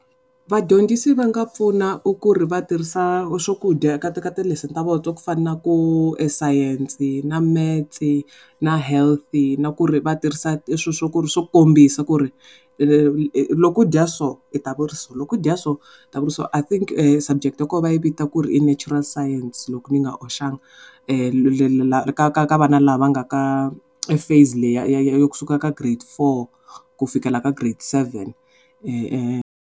Vadyondzisi va nga pfuna ku ri va tirhisa swakudya ka ti ka ti lesson ta vona to fana na ku sayense na metse na health-i na ku ri va vatirhisa swilo swo ku ri swo kombisa ku ri loko u dya so u ta va u ri so loko u dya so u ta va u ri so, I think subject subject ya kona va yi vita ku ri i natural science loko ni nga hoxanga ka ka ka vana lava nga ka phase leyi ya ya ya kusuka ka grade four ku fikela ka grade seven.